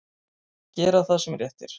Gera það sem rétt er.